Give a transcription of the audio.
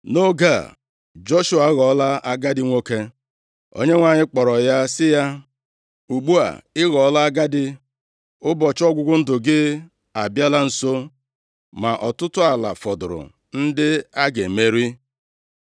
Nʼoge a, Joshua aghọọla agadi nwoke, + 13:1 Nʼoge a, Joshua agbaala ihe dịka iri afọ itoolu, maọbụ narị afọ, ebe Kaleb ga-adị ihe dịka iri afọ asatọ na ise. \+xt Jos 14:10; 23:1-2; 24:29\+xt* Onyenwe anyị kpọrọ ya sị ya, “Ugbu a, ị ghọọla agadi, ụbọchị ọgwụgwụ ndụ gị abịala nso, ma ọtụtụ ala fọdụrụ ndị a ga-emeri.